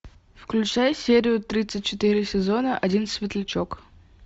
включай серию тридцать четыре сезона один светлячок